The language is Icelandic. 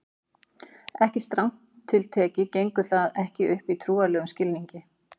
strangt til tekið gengur það ekki upp í trúarlegum skilningi